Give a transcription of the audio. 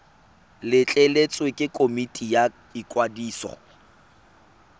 letleletswe ke komiti ya ikwadiso